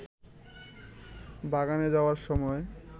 বাগানে যাওয়ার সময়